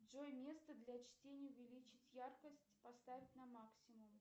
джой место для чтения увеличить яркость поставить на максимум